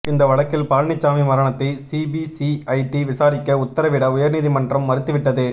இந்த வழக்கில் பழனிச்சாமி மரணத்தை சிபிசிஐடி விசாரிக்க உத்தரவிட உயர்நீதிமன்றம் மறுத்துவிட்டது